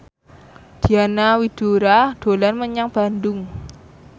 Diana Widoera dolan menyang Bandung